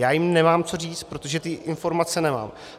Já jim nemám co říct, protože ty informace nemám.